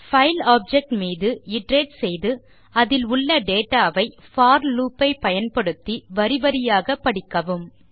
file object மீது iterate செய்து அதில் உள்ள டேட்டா வை போர் லூப் ஐ பயன்படுத்தி வரி வரியாக படிக்கவும்